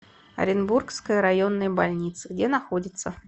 оренбургская районная больница где находится